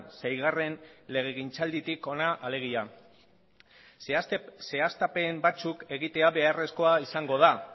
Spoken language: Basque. seigarren legegintzalditik hona alegia zehaztapen batzuk egitea beharrezkoa izango da